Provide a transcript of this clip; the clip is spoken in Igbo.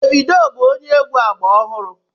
Davidoo bú onye egwu ágbá ọhụrụ